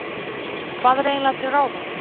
Hvað er eiginlega til ráða?